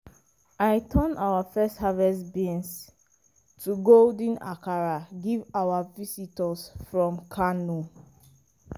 i turn our first harvest beans to golden akara give our visitors from kano.